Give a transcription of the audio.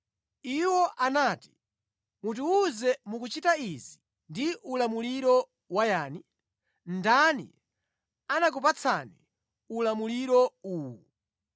Iwo anati, “Mutiwuze mukuchita izi ndi ulamuliro wayani? Ndani anakupatsani ulamuliro uwu?”